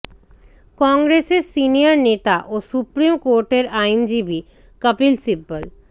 কংগ্রেসের সিনিয়র নেতা ও সুপ্রিম কোর্টের আইনজীবী কপিল সিব্বল